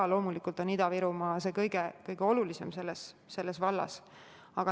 Aga loomulikult on Ida-Virumaa selle vallas see kõige olulisem.